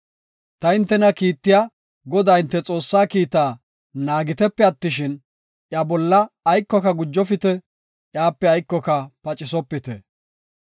Ta hintena kiittiya, Godaa hinte Xoossaa kiitta naagitepe attishin, iya bolla aykoka gujofite; iyape aykoka pacisopite.